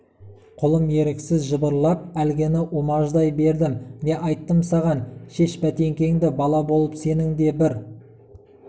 қолым еріксіз жыбырлап әлгіні умаждай бердім не айттым саған шеш бәтеңкеңді бала болып сенің де бір